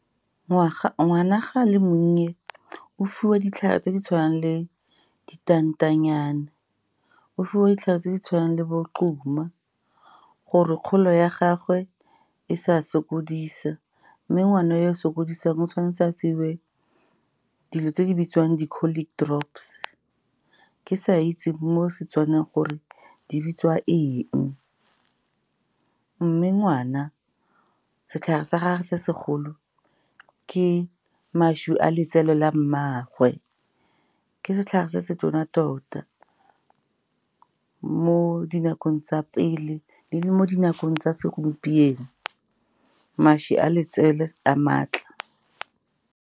Ngwana ga a le monnye o fiwa ditlhare tse di tshwanang le ditantanyana, o fiwa ditlhare tse di tshwanang le bo gore kgolo ya gagwe e sa sokodisa. Mme ngwana yo o sokodisang o tshwanetse a fiwe dilo tse di bitswang di-colic drops, ke sa itse mo Setswaneng gore di bitsiwa eng. Mme ngwana, setlhare sa gage sa segolo ke mašwi a letsele la mmaagwe, ke setlhare se se tona tota mo dinakong tsa pele le mo dinakong tsa segompieno. Mašwi a letsele a maatla.